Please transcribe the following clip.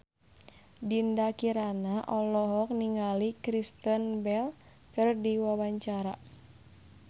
Dinda Kirana olohok ningali Kristen Bell keur diwawancara